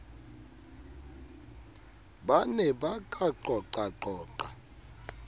ba ne ba ka qoqaqoqa